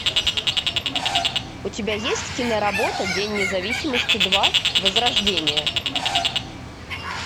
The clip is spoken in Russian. у тебя есть киноработа день независимости два возрождение